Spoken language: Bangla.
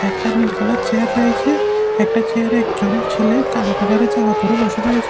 একটা নীল কালার চেয়ার রয়েছে একটা চেয়ারে একজন ছেলে কালো কালারের জামা পড়ে বসে রয়েছে।